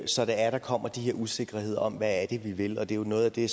så der der kommer de her usikkerheder om hvad vi vil og det er jo noget af det